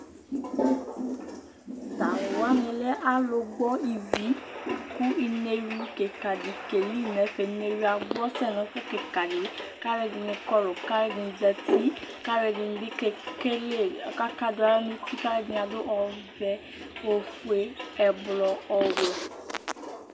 T'alʋ wani lɛ alʋ gbɔ ivi kʋ ineɣlu kika di keli n'ɛfɛ, ineɣlu yɛ agbɔ sɛ nʋ ɛfʋ kika di k'akʋ ɛdini kɔlʋ, k'alʋ ɛdini zati, k'alʋ ɛdini bi kele, akadʋ aɣla n'uti, k'alʋ ɛdini adʋ ɔvɛ, ofue, ɛblɔ, ɔwɛ